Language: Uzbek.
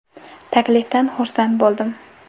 Taklifdan xursand bo‘ldim.